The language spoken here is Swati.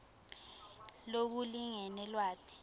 lokulingene lwati